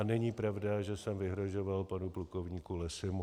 A není pravda, že jsem vyhrožoval panu plukovníku Lessymu.